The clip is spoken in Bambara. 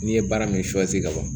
N'i ye baara min sɔsi ka ban